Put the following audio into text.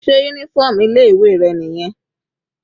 Sé uniform ilé ìwé rẹ̀ nìyẹn?